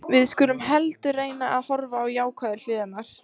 Við skulum heldur reyna að horfa á jákvæðu hliðarnar.